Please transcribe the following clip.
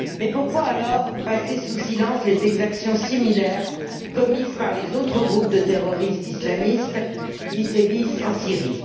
Mais pourquoi alors passer sous silence les exactions similaires commises par les autres groupes de terroristes islamistes qui sévissent en Syrie?